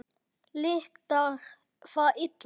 Lyktar það illa.